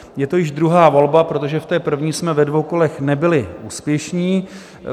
Je to již druhá volba, protože v té první jsme ve dvou kolech nebyli úspěšní.